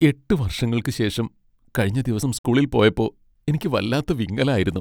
എട്ട് വർഷങ്ങൾക്കു ശേഷം കഴിഞ്ഞ ദിവസം സ്കൂളിൽ പോയപ്പോ എനിക്ക് വല്ലാത്ത വിങ്ങലായിരുന്നു.